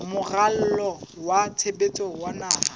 moralo wa tshebetso wa naha